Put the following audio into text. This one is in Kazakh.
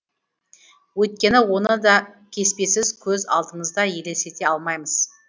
өйткені оны да кеспесіз көз алдымызда елестете алмаймыз